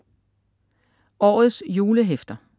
Årets julehæfter